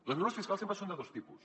les mesures fiscals sempre són de dos tipus